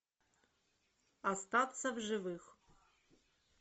остаться в живых